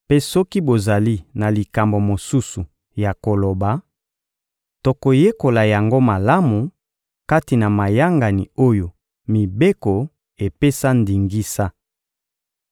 Mpe soki bozali na likambo mosusu ya koloba, tokoyekola yango malamu kati na mayangani oyo mibeko epesa ndingisa.